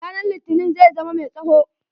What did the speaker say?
Ranan litinin zai zama mai tsawo.